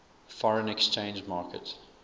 foreign exchange market